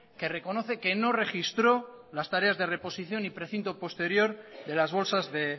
que reconoce que no registró las tareas de reposición y precinto posterior de las bolsas de